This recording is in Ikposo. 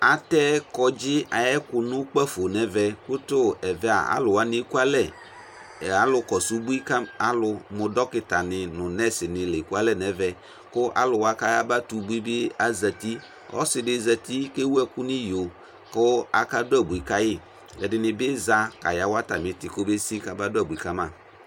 Atɛ kɔŋdzɩ ayʋ ɛkʋ nʋ ukpǝfo nʋ ɛvɛ kʋ tʋ ɛvɛ a, alʋ wanɩ ekualɛ Ɛ alʋkɔsʋ ubui ka m alʋ mʋ dɔkɩtanɩ nʋ nɛsnɩ la ekualɛ nʋ ɛvɛ kʋ alʋ wa kʋ ayabatɛ ubui bɩ azati Ɔsɩ dɩ zati kʋ ewu ɛkʋ nʋ iyo kʋ akadʋ abui ka yɩ Ɛdɩnɩ bɩ za kayawa atamɩ ɩtɩ kɔbesi kamadʋ abui ka ma